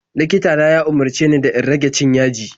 Likita na ya umarce ni da in rage cin yaji.